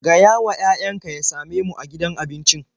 Gayawa yayanka ya same mu a gidan abincin.